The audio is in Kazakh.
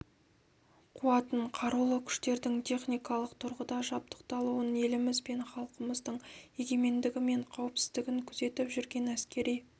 қуатын қарулы күштердің техникалық тұрғыда жабдықталуын еліміз бен халқымыздың егемендігі мен қауіпсіздігін күзетіп жүрген әскери